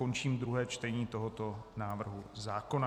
Končím druhé čtení tohoto návrhu zákona.